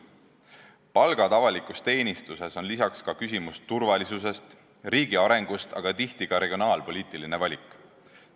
Palgad avalikus teenistuses on lisaks küsimus turvalisusest, riigi arengust, aga tihti on tegu ka regionaalpoliitilise valikuga.